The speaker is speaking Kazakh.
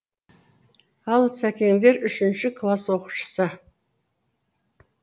ал сәкендері үшінші класс оқушысы